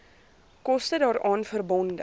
koste daaraan verbonde